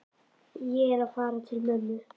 Ég er að fara til mömmu.